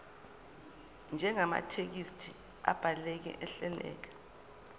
njengamathekisthi abhaleke ahleleka